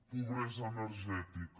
pobresa energètica